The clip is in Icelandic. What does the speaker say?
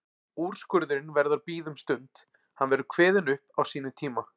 Úrskurðurinn verður að bíða um stund, hann verður kveðinn upp á sínum tíma.